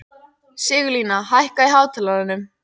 Sigurlína, hækkaðu í hátalaranum.